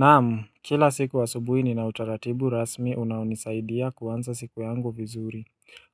Naam, kila siku asubuhi ni na utaratibu rasmi unaonisaidia kuanza siku yangu vizuri.